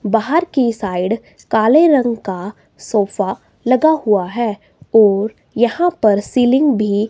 बाहर की साइड काले रंग का सोफा लगा हुआ है और यहां पर सीलिंग भी--